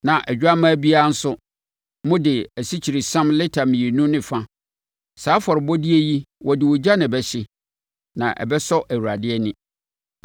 na odwammaa biara nso, mode asikyiresiam lita mmienu ne ɛfa. Saa afɔrebɔdeɛ yi wɔde ogya na ɛbɛhye, na ɛbɛsɔ Awurade ani.